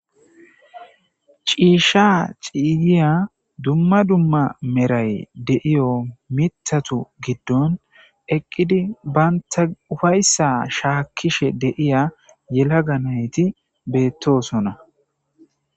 Cisha ciyiya dumma dumma meray de'iyo mithatu gidon eqqidi bantaw uffayetidi ufaysa shakishe de'iza yelaga nayti betosona